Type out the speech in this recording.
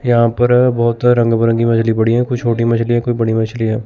यहां पर बहोत रंग बिरंगी मछली पड़ी हैं कुछ छोटी मछली हैं कोई बड़ी मछली हैं।